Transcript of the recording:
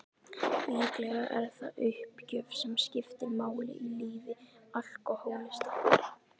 Líklega er það uppgjöf sem skiptir máli í lífi alkohólista.